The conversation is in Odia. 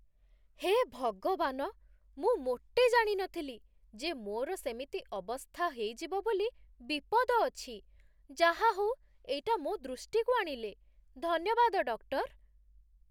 ହେ ଭଗବାନ! ମୁଁ ମୋଟେ ଜାଣି ନଥିଲି ଯେ ମୋର ସେମିତି ଅବସ୍ଥା ହେଇଯିବ ବୋଲି ବିପଦ ଅଛି । ଯାହା ହଉ ଏଇଟା ମୋ ଦୃଷ୍ଟିକୁ ଆଣିଲେ, ଧନ୍ୟବାଦ, ଡକ୍ଟର୍ ।